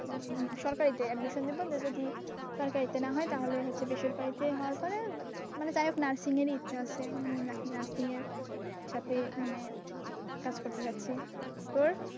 সরকারিতে admission নেব যদি সরকারিতে না হয় তাহলে হচ্ছে বেসরকারিতে হওয়ার পরে মানে যাই হোক nursing এরই ইচ্ছা আছে। মানে nursing এর সাথে মানে কাজ করতে চাচ্ছি। তোর?